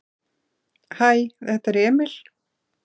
"""Hæ, þetta er Emil."""